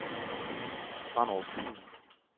Brenderup Fyn